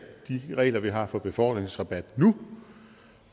de regler vi har for befordringsrabat nu